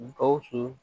Gawusu